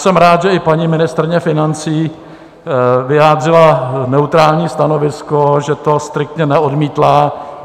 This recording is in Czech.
Jsem rád, že i paní ministryně financí vyjádřila neutrální stanovisko, že to striktně neodmítla.